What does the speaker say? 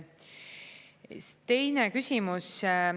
Teine küsimus.